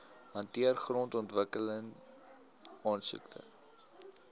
hanteer grondontwikkeling aansoeke